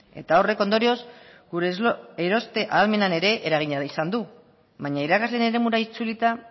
eta horrek ondorioz gure eroste ahalmenak ere eragina izan du baina irakasleen eremura itzulita